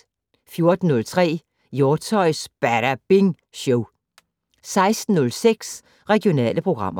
14:03: Hjortshøjs Badabing Show 16:06: Regionale programmer